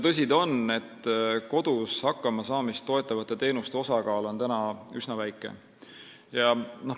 Tõsi ta on, et kodus hakkama saamist toetavate teenuste osakaal on täna üsna väike.